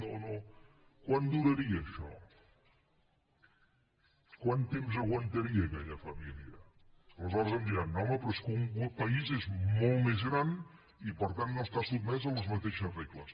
quant duraria això quant temps aguantaria aquella família aleshores em diran no home però és que un país és molt més gran i per tant no està sotmès a les mateixes regles